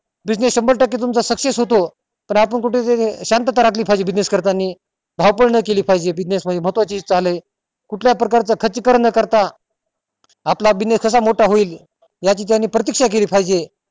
business शंभर टक्के तुमचा success होतो पण कुठे तरी शांतता राखली पाहिजे business करतानी धावपळ नाय केली पाहिजे business मध्ये महत्वाची चाल ये कुठल्या प्रकारच खर्ची करण न करता आपला business कसा मोठा होईल याची त्यानी प्रतीक्षा केली पाहिजे